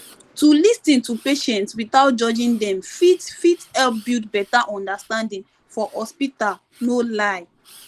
to lis ten to patients without judging dem fit fit help build better understanding for hospital no lie